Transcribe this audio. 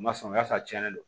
U ma sɔn ka sɔrɔ a tiɲɛnen don